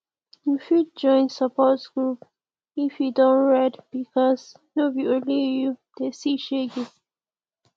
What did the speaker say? yu fit join support group if e don red bikos no be only yu dey see shege